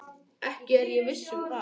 Ekki er ég viss um það.